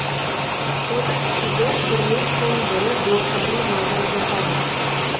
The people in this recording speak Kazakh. отыз студент бірінен соң бірі блоктарын жаудырып жатады